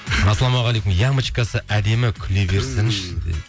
ассалаумағалейкум ямочкасы әдемі күле берсінші дейді